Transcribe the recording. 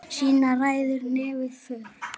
Síðan ræður nefið för.